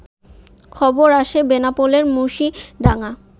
খবর আসে বেনাপোলের মুশিডাঙ্গা